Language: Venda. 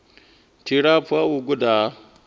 tshilapfu ha u guda ha